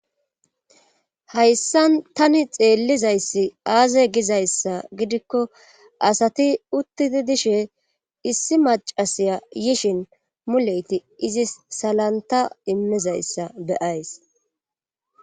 hayssan tani xeellizayssi aaze gizayssa gidikko asati uttidi dishe issi macasiya yishin muleyti izis salanta immizayssa be'ays